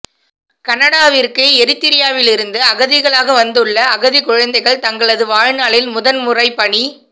கனடாவிற்கு எரித்ரியாவிலிருந்து அகதிகளாக வந்துள்ள அகதிக் குழந்தைகள் தங்களது வாழ்நாளில் முதன் முறை பனி